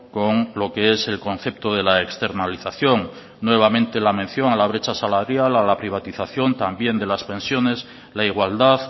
con lo que es el concepto de la externalización nuevamente la mención a la brecha salarial a la privatización también de las pensiones la igualdad